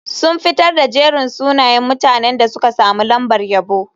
Sun fitar da jerin sunayen mutanen da suka samu lambar yabo.